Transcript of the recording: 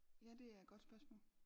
Ja det er et godt spørgsmål